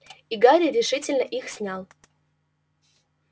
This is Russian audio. и гарри решительно их снял